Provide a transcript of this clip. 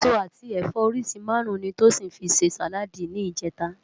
Esó ati ẹfọ óriṣi márùn ni Tosin fi sé sáládì nijètá